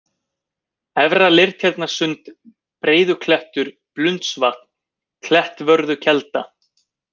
Efra-Leirtjarnarsund, Breiðuklettur, Blundsvatn, Klettvörðukelda